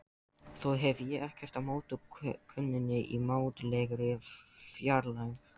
Þó hef ég ekkert á móti konunni í mátulegri fjarlægð.